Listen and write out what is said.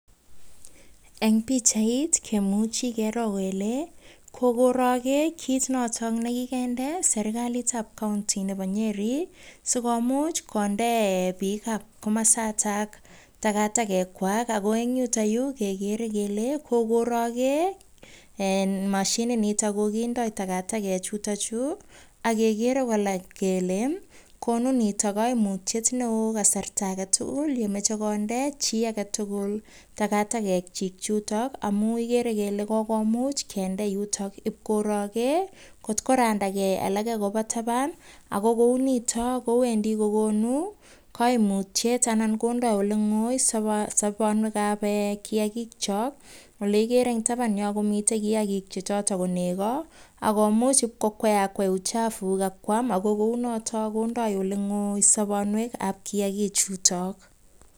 Eng pichait kemuchi kero kole kokoroge kit notok nekokende serkalitab kaunti nebo nyeri sikomuch konde pikab komosatak takatakek kwai. Ako eng yutoyu kegere kele kokoroge mashinit nitok kindoi takatakek ak kegere kokeny kele konu nitok koimutiet neo eng kasarta age tugul yemachei konde chi age tugul takatakekchi yutok amun igeri ile kokomuch konde yutok ib koroge atko randagei alake koba taban. Nitok kowendi kokonu koimutyet akomuch konde oleng'oi kiakik ole igere eng tapan, ko nego komuch konem chafuk ak koam kou notok kondoi oleng'ok kiagik chutok.